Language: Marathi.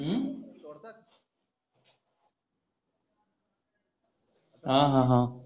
आह